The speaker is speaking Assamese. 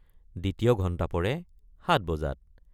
দ্বিতীয় ঘণ্টা পৰে ৭॥ বজাত।